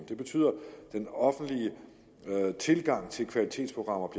det betyder at den offentlige tilgang til kvalitetsprogrammer